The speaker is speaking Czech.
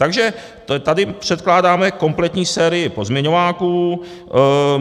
Takže tady předkládáme kompletní sérii pozměňováků.